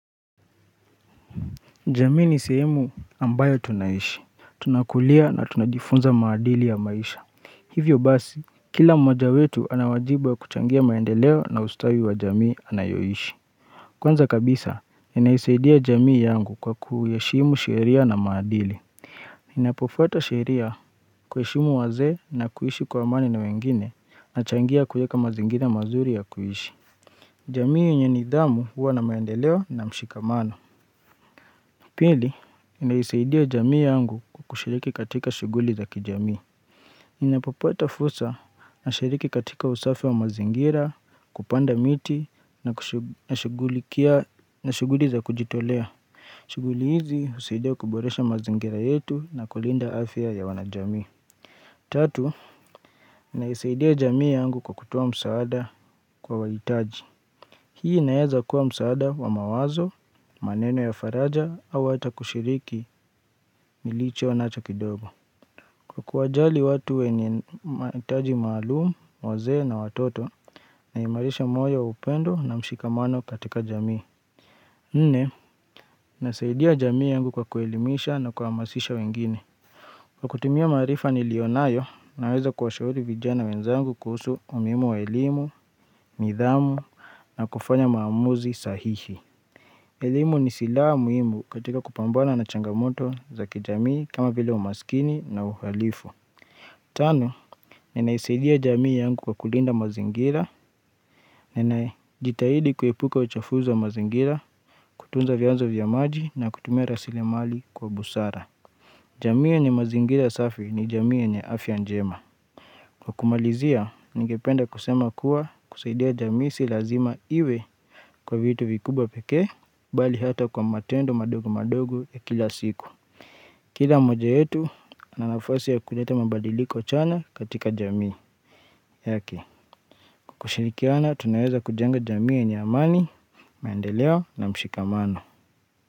Jamii ni sehemu ambayo tunaishi. Tunakulia na tunajifunza maadili ya maisha. Hivyo basi, kila mmoja wetu anawajibwa kuchangia maendeleo na ustawi wa jamii anayoishi. Kwanza kabisa, inaisaidia jamii yangu kwa kuyaheshimu sheria na maadili. Inapofuata sheria kuyashimu waze na kuhishi kwa amani na wengine na changia kuyeka mazingina mazuri ya kuishi. Jamii yenye nidhamu huwa na maendeleo na mshikamano. Pili, inaisaidia jamii yangu kukushiriki katika shuguli za kijamii. Inapopata fusa na shiriki katika usafi wa mazingira, kupanda miti, na shuguli za kujitolea. Shuguli hizi, usaidia kuboresha mazingira yetu na kulinda afya ya wanajamii. Tatu, inaisaidia jamii yangu kwa kutoa msaada kwa waitaji. Hii naeza kuwa msaada wa mawazo, maneno ya faraja au hata kushiriki nilicho nacho kidogo. Kwa kuwajali watu wenye maitaji maalumu, waze na watoto na imarisha moyo upendo na mshikamano katika jamii. Nne, nasaidia jamii yangu kwa kuelimisha na kuhamasisha wengine. Kwa kutumia marifa ni lionayo, naeza kuwashauri vijana wenzangu kuhusu umuhimu wa ilimu, nidhamu na kufanya maamuzi sahihi. Elimu ni sila muimu katika kupambana na changamoto zaki jamii kama vile umaskini na uhalifu. Tano, ninaisidia jamii yangu kwa kulinda mazingira, ninajitahidi kuepuka uchovu za mazingira, kutunza vyanzo vya maji na kutumia rasili mali kwa busara. Jamii ya ni mazingira safi ni jamii ya ni afya njema. Kwa kumalizia, ningependa kusema kuwa kusaidia jamii si lazima iwe kwa vitu vikubwa peke, bali hata kwa matendo madogo madogo ya kila siku. Kila moja yetu, ana nafasi ya kujete mabadiliko chanya katika jamii. Yake, kwa kushirikiana, tunaweza kujenga jamii yenye amani, maendeleo na mshikamano.